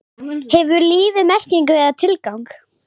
Hefur lífið merkingu eða tilgang?